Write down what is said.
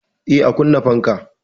Eh, a kunna fankan.